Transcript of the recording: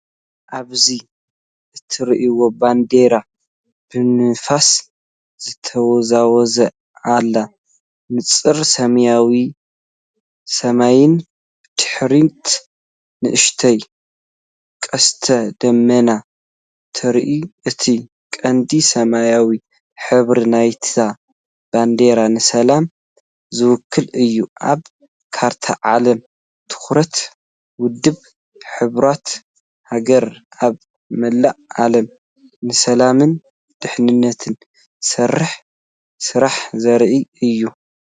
ኣብዚ እትርአ ባንዴራ ብንፋስ ትወዛወዝ ኣላ። ንጹር ሰማያዊ ሰማይን ብድሕሪት ንእሽቶ ቀስተ ደመናን ትርአ። እቲ ቀንዲ ሰማያዊ ሕብሪ ናይታ ባንዴራ ንሰላም ዝውክል እዩ። ኣብ ካርታ ዓለም ትኹረት ውድብ ሕቡራት ሃገራት ኣብ መላእ ዓለም ንሰላምን ድሕነትን ዝሰርሖ ስራሕ ዘርኢእዩ።